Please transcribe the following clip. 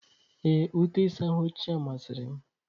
Ee, ute ịsa ahụ ochie masịrị m.